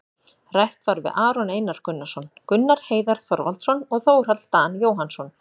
Rætt var við Aron Einar Gunnarsson, Gunnar Heiðar Þorvaldsson og Þórhall Dan Jóhannsson,